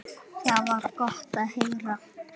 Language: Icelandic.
Það var gott að heyra.